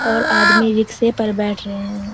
और आदमी रिक्शे पर बैठ रहे है।